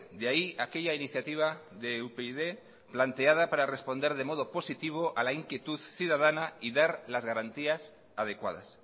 de ahí aquella iniciativa de upyd planteada para responder de modo positivo a la inquietud ciudadana y dar las garantías adecuadas